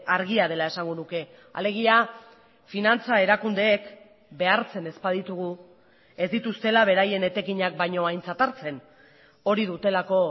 argia dela esango nuke alegia finantza erakundeek behartzen ez baditugu ez dituztela beraien etekinak baino aintzat hartzen hori dutelako